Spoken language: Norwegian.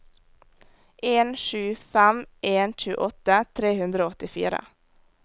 en sju fem en tjueåtte tre hundre og åttifire